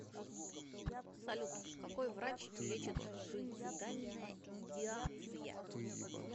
салют какой врач лечит суицидальная идеация